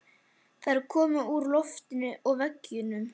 Þær koma úr loftinu og veggjunum.